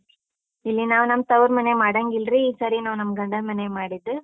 ಇಲ್ಲಿ ನಾವು ನಮ್ ತವ್ರ್‌ ಮನೆಯಾಗ್ ಮಾಡಾಂಗಿಲ್ರಿ, ಈ ಸರಿ ನಾವ್ ನಮ್ ಗಂಡನ್ ಮನೆಯಾಗ್ ಮಾಡಿದ್ದು.